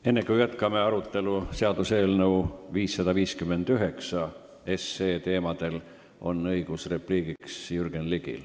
Enne kui jätkame arutelu seaduseelnõu 559 teemadel, on õigus repliigiks Jürgen Ligil.